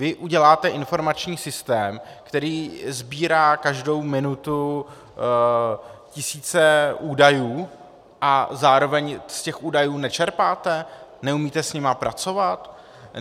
Vy uděláte informační systém, který sbírá každou minutu tisíce údajů, a zároveň z těch údajů nečerpáte, neumíte s nimi pracovat?